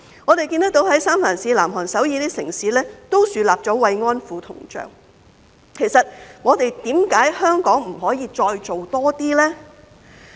我們看到三藩市、南韓首爾等城市，也豎立了慰安婦銅像，為何香港不可以再多做一些呢？